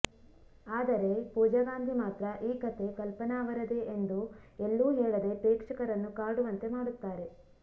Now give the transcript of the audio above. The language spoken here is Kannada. ಆದರೆ ಪೂಜಾಗಾಂಧಿ ಮಾತ್ರ ಈ ಕಥೆ ಕಲ್ಪನಾ ಅವರದೇ ಎಂದು ಎಲ್ಲೂ ಹೇಳದೆ ಪ್ರೇಕ್ಷಕರನ್ನು ಕಾಡುವಂತೆ ಮಾಡುತ್ತಾರೆ